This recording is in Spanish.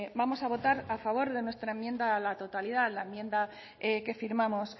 vamos a votar a favor de nuestra enmienda a la totalidad la enmienda que firmamos